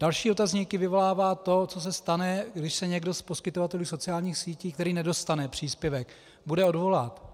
Další otazníky vyvolává to, co se stane, když se někdo z poskytovatelů sociálních sítí, který nedostane příspěvek, bude odvolávat.